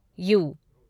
you